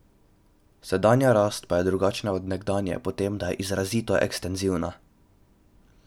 Sedanja rast pa je drugačna od nekdanje po tem, da je izrazito ekstenzivna.